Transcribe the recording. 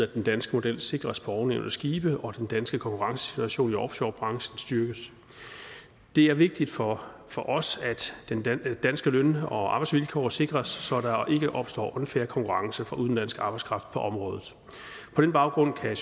den danske model sikres på ovennævnte skibe og at den danske konkurrencesituation i offshorebranchen styrkes det er vigtigt for for os at danske løn og arbejdsvilkår sikres så der ikke opstår unfair konkurrence fra udenlandsk arbejdskraft på området på den baggrund kan